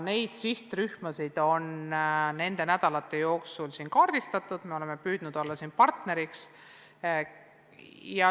Neid sihtrühmasid on nende nädalate jooksul kaardistatud, me oleme püüdnud olla partneriks.